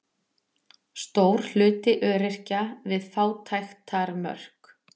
Stór hluti öryrkja við fátæktarmörk